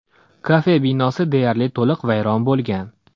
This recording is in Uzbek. Kafe binosi deyarli to‘liq vayron bo‘lgan.